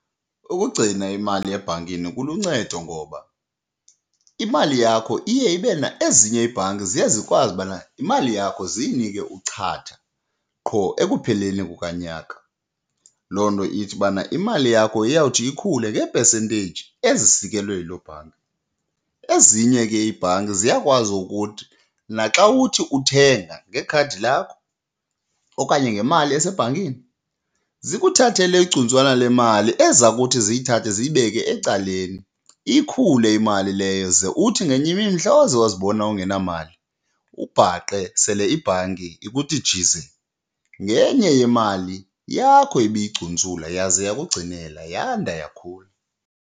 Ukugcina imali ebhankini kuluncedo ngoba imali yakho iye ibe , ezinye iibhanki ziye zikwazi ubana imali yakho ziyinike uchatha qho ekupheleni kukanyaka. Loo nto ithi bana imali yakho iyawuthi ikhule ngee-percentage ezisikelwe yiloo bhanki. Ezinye ke iibhanki ziyakwazi ukuthi naxa uthi uthenga ngekhadi lakho okanye ngemali esebhankini zikuthathele igcuntswana le mali eza kuthi ziyithathe ziyibeke ecaleni. Ikhule imali leyo ze uthi ngenye imini mhla waze wazibona ungenamali ubhaqe sele ibhanki ikuthi jize ngenye yemali yakho ibiyicuntsula yaze yakugcinela yanda, yakhula.